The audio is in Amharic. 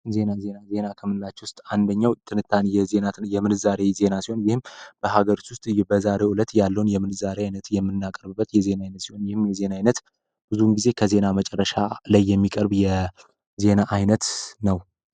ዜና ዜናዜና ከምላች ውስጥ አንደኛው ትንታን የምንዛሬ ይዜና ሲሆን ይህም በሀገርት ውስጥ በዛሬ ውለት ያለውን የምንዛሬ ዓይነት የምናቀርብበት የዜና ዓይነት ሲሆን ይህም የዜና ዓይነት ብዙን ጊዜ ከዜና መጨረሻ ላይ የሚቀርብ የዜና አይነት ነው፡፡